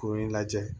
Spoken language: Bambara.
Kurun in lajɛ